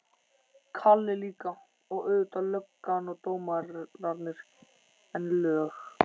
Kalli líka, og auðvitað löggan og dómararnir, en lög